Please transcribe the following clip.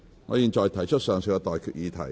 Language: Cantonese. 我現在向各位提出上述待決議題。